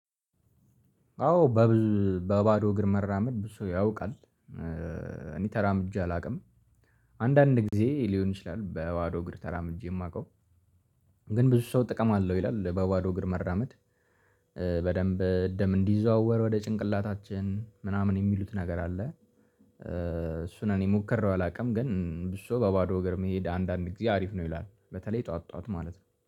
አዎ በባዶ እግር መራመድ ብዙ ሰው ያውቃል። እኔ ተራምጄ አላውቅም። አንዳንድ ጊዜ ሊሆን ይችላል በባዶ እግር ተራምጄ የማውቀው። ግን ብዙ ሰው ጥቅም አለው ይላል በዋዶ እግር መራመድ። በደንብ ደም እንዲዘዋወር ወደ ጭንቅላታችን ምናምን የሚሉት ነገር አለ። እሱን እኔ ሙከራው አላውቅም ግን ብሶ በባዶ ወገር መሄድ አንዳንድ ጊዜ አሪፍ ነው ይላል። በተለይ ጠዋት ጠዋት ማለት ነው